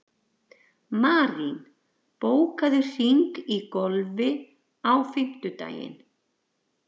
Marín, bókaðu hring í golf á fimmtudaginn.